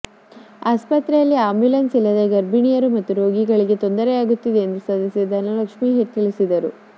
ಆಸ್ಪತ್ರೆಯಲ್ಲಿ ಆ್ಯಂಬುಲೆನ್ಸ್ ಇಲ್ಲದೆ ಗರ್ಭಿಣಿಯರು ಹಾಗೂ ರೋಗಿಗಳಿಗೆ ತೊಂದರೆಯಾಗುತ್ತಿದೆ ಎಂದು ಸದಸ್ಯೆ ಧನಲಕ್ಷ್ಮೀ ತಿಳಿಸಿದರು